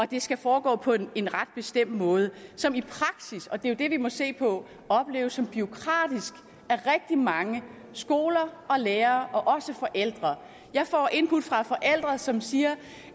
det skal foregå på en ret bestemt måde som i praksis og det er jo det vi må se på opleves som bureaukratisk af rigtig mange skoler og lærere og også af forældre jeg får input fra forældre som siger